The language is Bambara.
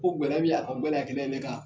Ko gɛlɛya min y'a kan, o gɛlɛya kelen ne kan